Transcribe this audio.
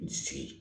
N sigi